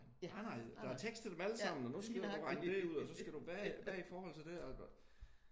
Ej nej der er tekst til dem alle sammen og nu skal du regne det ud og så skal du og hvad er det i forhold til det?